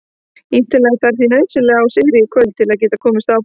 Ítalía þarf því nauðsynlega á sigri í kvöld til að geta komist áfram.